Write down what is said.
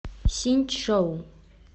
синьчжоу